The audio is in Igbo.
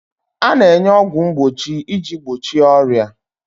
A na-enye ọgwụ mgbochi iji gbochie ọrịa.